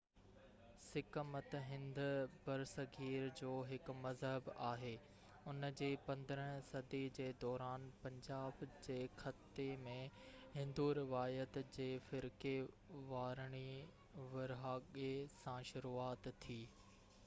sick مت هند برصغير جو هڪ مذهب آهي ان جي 15 صدي جي دوران پنجاب جي خطي ۾ هندو روايت جي فرقي وارڻي ورهاڳي سان شروعات ٿي